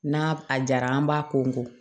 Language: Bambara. N'a a jara an b'a ko nko